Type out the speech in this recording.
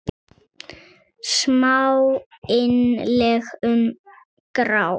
Smá innlegg um grát.